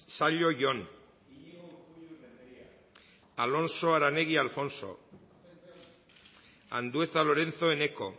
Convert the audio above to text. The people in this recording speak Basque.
zallo jon alonso aranegui alfonso andueza lorenzo eneko